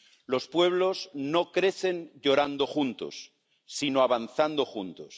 Los pueblos no crecen llorando juntos, sino avanzando juntos.